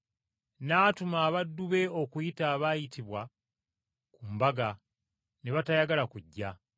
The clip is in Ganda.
N’atuma abaddu be okuyita abaayitibwa ku mbaga, ne batayagala kujja.